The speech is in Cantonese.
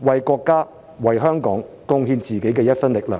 為國家、為香港貢獻自己的一分力量。